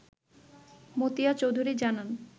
মতিয়া চৌধুরী জানান